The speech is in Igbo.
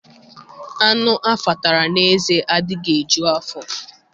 Anụ a fatara n'ézé adịghị eju afọ.